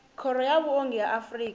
khoro ya vhuongi ya afrika